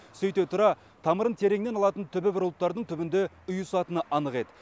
сөйте тұра тамырын тереңнен алатын түбі бір ұлттардың түбінде ұйысатыны анық еді